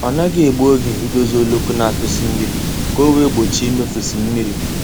Ọ naghị egbu oge idozi oloko na-atụsi mmiri ka ọ wee gbochie imefusi mmiri